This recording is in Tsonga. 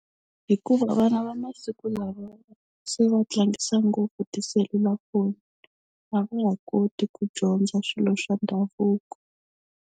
Hikuva vana va masiku lawa se va tlangisa ngopfu tiselulafoni a va ha koti ku dyondza swilo swa ndhavuko.